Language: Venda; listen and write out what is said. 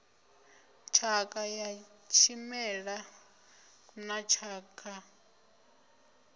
tshakha ya tshimela na tshakha